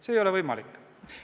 See ei ole võimalik.